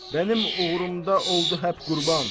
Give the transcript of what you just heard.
Mənim uğrumda oldu həp qurban.